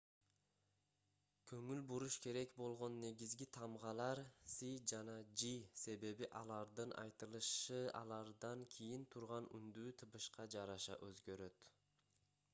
көңүл буруш керек болгон негизги тамгалар c жана g себеби алардын айтылышы алардан кийин турган үндүү тыбышка жараша өзгөрөт